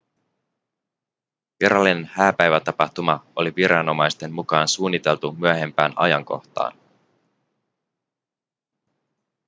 virallinen hääpäivätapahtuma oli viranomaisten mukaan suunniteltu myöhempään ajankohtaan